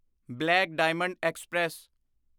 black diamond express